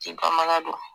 K'i bamanan don